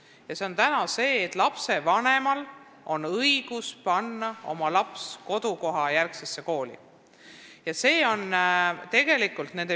Praegu on nii, et lapsevanemal on õigus panna oma laps kodukohajärgsesse kooli.